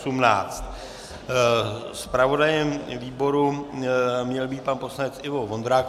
Zpravodajem výboru měl být pan poslanec Ivo Vondrák.